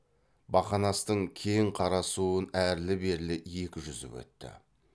бақанастың кең қара суын әрлі берлі екі жүзіп өтті